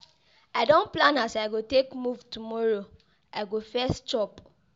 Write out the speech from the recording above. I don plan as I go take move tomorrow, I go first chop.